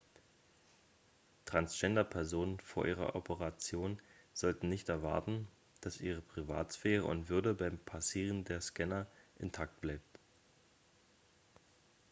transgender-personen vor ihrer operation sollten nicht erwarten dass ihre privatsphäre und würde beim passieren der scanner intakt bleibt